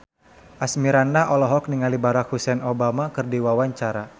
Asmirandah olohok ningali Barack Hussein Obama keur diwawancara